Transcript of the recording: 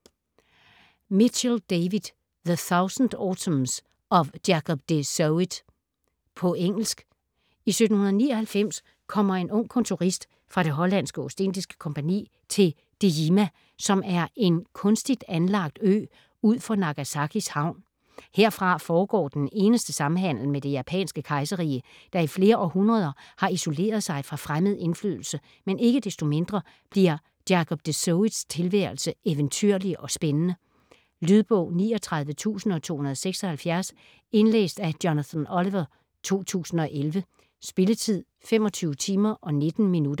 Mitchell, David: The thousand Autumns of Jacob de Zoet På engelsk. I 1799 kommer en ung kontorist fra det hollandske Ostindiske Kompagni til Dejima, som er en kunstigt anlagt ø ud for Nagasakis havn. Herfra foregår den eneste samhandel med det japanske kejserrige, der i flere århundreder har isoleret sig fra fremmed indflydelse, men ikke desto mindre bliver Jacob de Zoet's tilværelse eventyrlig og spændende. Lydbog 39276 Indlæst af Jonathan Oliver, 2011. Spilletid: 25 timer, 19 minutter.